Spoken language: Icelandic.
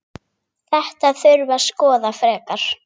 Þetta þurfi að skoða frekar.